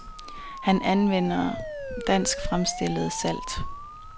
Han anvender dansk fremstillet salt.